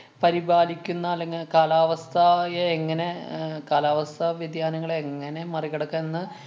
പരിപാലിക്കുന്ന അല്ലെങ്കില് കാലാവസ്ഥയെ എങ്ങനെ അഹ് കാലാവസ്ഥാ വ്യതിയാനങ്ങളെ എങ്ങനെ മറിക്കടക്ക്ന്ന്